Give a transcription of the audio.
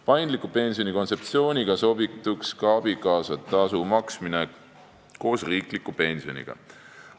Paindliku pensioni kontseptsiooniga sobituks ka abikaasatasu maksmine koos riikliku pensioniga.